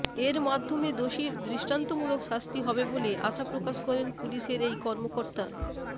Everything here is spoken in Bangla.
এর মাধ্যমে দোষীর দৃষ্টান্তমূলক শাস্তি হবে বলে আশা প্রকাশ করেন পুলিশের এই কর্মকর্তা